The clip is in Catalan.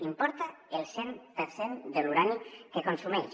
importa el cent per cent de l’urani que consumeix